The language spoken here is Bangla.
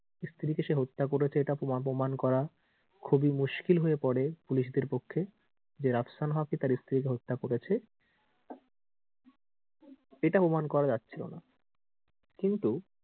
তার স্ত্রীকে সে হত্যা করেছে এটা প্রমান করা খুবই মুশকিল হয়ে পড়ে পুলিশদের পক্ষে যে রাফসান হক ই তার স্ত্রীকে হত্যা করেছে এটা অনুমান করা যাচ্ছিলোনা কিন্তু,